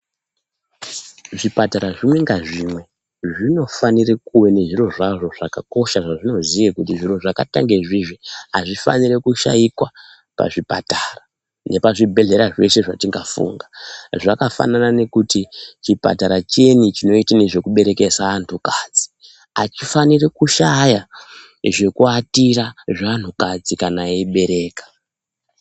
Zvipatara zvimwe ngazvimwe zvinofanire kuone zviro zvazvo zvakakosha zvazvinoziye kuti zviro zvakaita ngezvizvi hazvifaniri kushaikwa pazvipatara, nepazvibhedhlera zveshe zvetingafunga. Zvakafanana nekuti chipatara chiyeni chinoite nezvekuberekesa antukadzi, hachifaniri kushaya zvekuatira zveanhukadzi kana eyibereka.